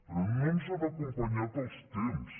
però no ens han acompanyat els temps